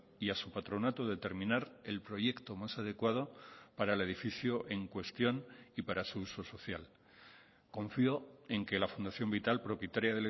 y a su patronato determinar el proyecto más adecuado para el edificio en cuestión y para su uso social confío en que la fundación vital propietaria